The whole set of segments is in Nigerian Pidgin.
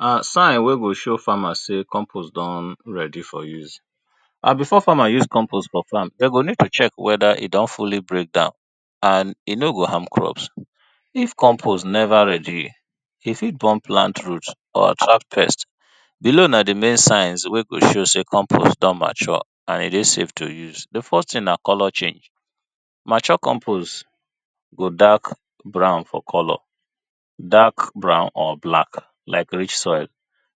And sign wey go show farmer sey compost don ready for use and before farmer use compost for farm dem go need to check whether e don fully break down and e no go harm crops, if compost never ready e fit burn plant roots or trap pest. Below na di main sign wey go show sey compost don ready and e dey safe to use. Di first thing na color change. Mature compost go dark brown for color, dark brown or black like leach soil,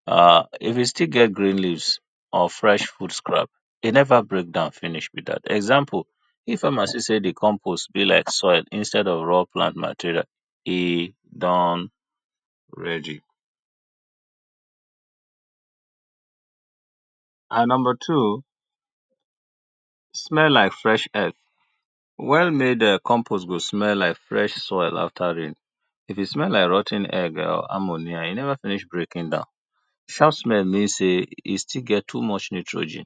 if e still get green leaves or fresh food crumbs e never break down finish be dat, example if farmer see sey di compost be like soil instead of plant material e don ready and number two, small like fresh egg, well-made compost go smell like fresh soil after rain, if e small like rot ten egg or ammonia e never finish breaking down, sharp smell mean sey e still get little nitrogen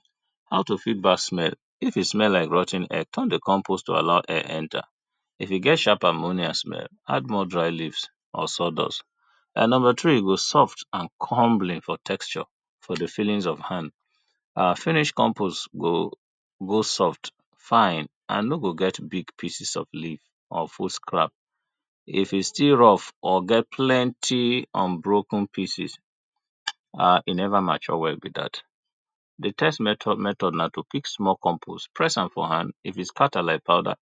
and to feel bad smell, if e smell like rot ten egg turn to compost to allow air enter, e get sharp ammonia smell add more dry leave or sawdust and number three e go soft and comely for hand for di feeling of texture and finished compost go soft texture for di feelings of hand and finished compost go go soft, fine and e no go get big pieces of leave of food scrap, if e still rough or get plenty unbroken pieces e never mature well be dat, di third method na to pick small compost press am for hand if e scatter like powder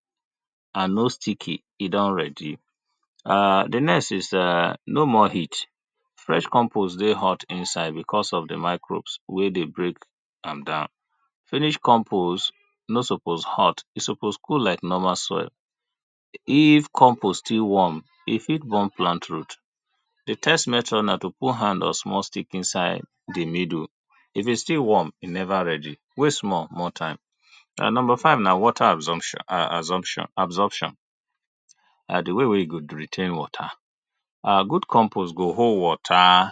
and no sticky e don ready. Di next is [urn] no more heat, fresh compost dey hot inside because of microbes wey dey break am down, any compost no suppose hot e suppose cool like normal soil, if compost dey warm e fit burn plant root. Di third method na to put hand or small stick inside di middle if e still warm, e never ready, wait small, more time. And number five na water abso, absorption, absorption. Na di way wey e go maintain water, good compost go hold water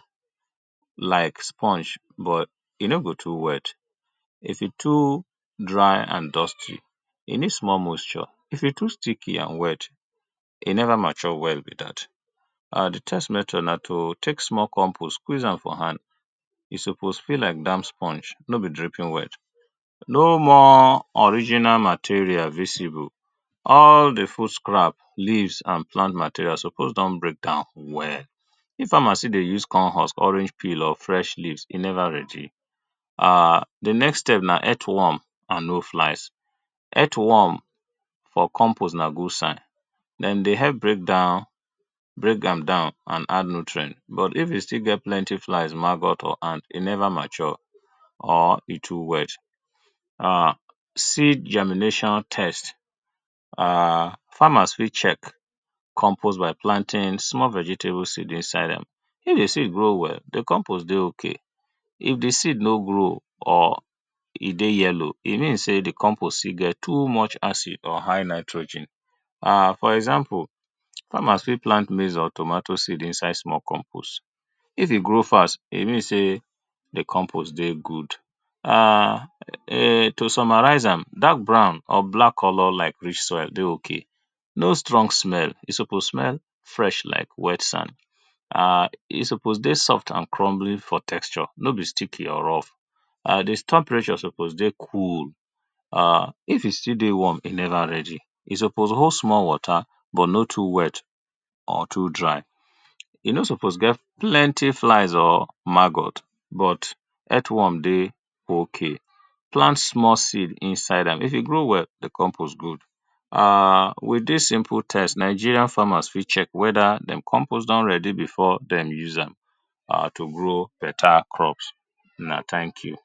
like sponge but e no go too wet, if e too dry and dusty, e need small moisture, if e too sticky and wet e never mature well be dat, di test method na to take small compost squeeze am for hand e supposed feel like dat sponge no be drinking wet, no more original material visible, all di food crumb s, levaes and materials suppose don break down well, if farmer still dey see corn husk, orange peels or fresh leave e never ready, d next step na earth warm and oak flies, earth warm for compost na good sign dem dey help break down, break dem down add nutrient but if e still get plenty flies, maggot or ant e never mature or e too wet, seed germination test, [urn] farmers fit check compost by planting small vegetable seed inside dem, if di seed grow well, di compost dey okay, if di seed no grow or e dey yellow, e mean sey di compost still get too much acid or high nitrogen and f or example farmers fit plant small maize or tomato inside compost, if e grow fast e mean sey di compost dey good [urn] to summarize am dark brown or black color like clay soil dey okay no strong smell, e suppose smell fresh like wet sand [urn] e suppose dey soft and crumbly for texture no be sticky or rough and di temperature suppose dey cool if e still dey warm, e never ready. E suppose hold small water but no too wet or too dry e no suppose get plenty flies or maggot but earth warm dey okay, plant small seed inside am, if e grow well di compost good. With dis simple test Nigeria farmer fit check whether dem compost don ready to use am to grow better crops una thank you.